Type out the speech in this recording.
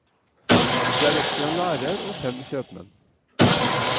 Det er også en lærer, og fem kjøpmenn.